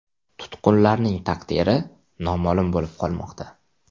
Tutqunlarning taqdiri noma’lum bo‘lib qolmoqda.